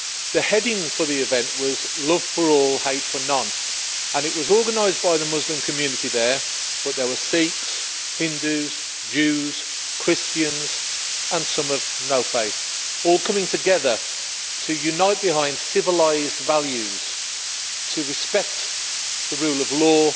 The heading for the event was Love for all, hate for none', and it was organised by the Muslim community there, but there were Sikhs, Hindus, Jews, Christians and some of no faith, all coming together to unite behind civilised values, to respect the rule of law,